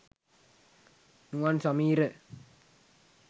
nuwan sameera